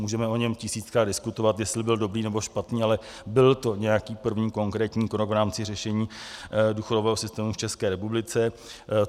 Můžeme o něm tisíckrát diskutovat, jestli byl dobrý, nebo špatný, ale byl to nějaký první konkrétní krok v rámci řešení důchodového systému v České republice.